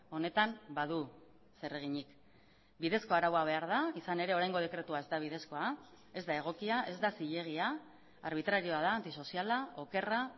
honetan badu zereginik bidezko araua behar da izan ere oraingo dekretua ez da bidezkoa ez da egokia ez da zilegia arbitrarioa da antisoziala okerra